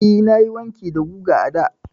Eh, nayi wanki da giga a da.